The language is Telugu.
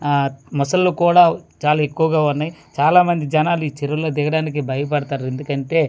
ఆ ముసళ్ళు కూడా చాలా ఎక్కువగా ఉన్నాయ్ చాలా మంది జనాలు ఈ చెరువులో దిగడానికి భయపడుతారు ఎందుకంటే.